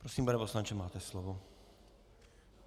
Prosím, pane poslanče, máte slovo.